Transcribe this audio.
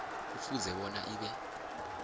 kufuze bona ibe